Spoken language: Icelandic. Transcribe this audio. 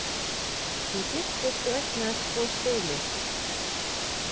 Hún giftist og eignaðist tvo syni